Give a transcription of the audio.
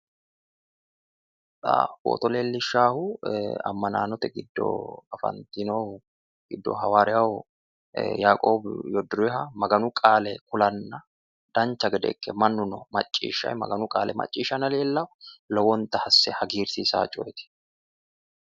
Xa footo leellishshaahu ammanaanote giddo afantino giddo hawaariya yaiqoowi yoddoriha maganu qaale kulanna dancha gede ikke mannuno maccishshayi maganu qaale macciishshanna leellawo. Lowonta asse hagiirsiisawo coyeeti.